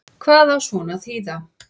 Hvað á svona að þýða